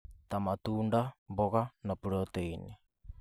ta matunda, mboga na proteini